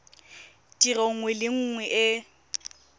tiro nngwe le nngwe e